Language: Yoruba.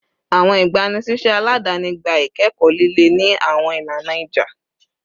Awọn igbanisiṣẹ aladani gba ikẹkọ lile ni awọn ilana ija